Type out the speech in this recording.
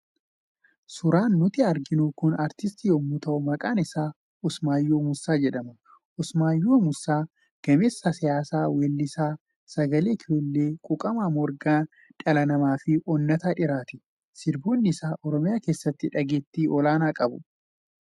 Suuraan nuti arginu kun artistii yommuu ta'u maqaan isaas Usmayyoo Muusaa jedhama. Usmaayyoon Muusaa gameessa siyaasaa, weellisaa sagaleen kiiloole, quuqamaa Morgan dhala namaa fi onnataa dhiiraati. Sirboonni isaa Oromiyaa keessatti dhageettii olaanaa qabu.